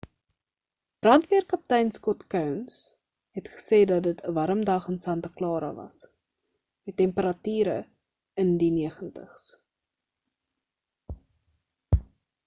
brandweer kaptein scott kouns het gesê dat dit 'n warm dag in santa clara was met temperature in die 90s